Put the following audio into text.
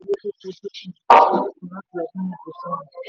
nàìjíríà kò ti pa owó tó fojúsùn tó fojúsùn láti ọdún méje sẹ́yìn.